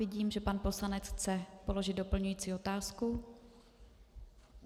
Vidím, že pan poslanec chce položit doplňující otázku.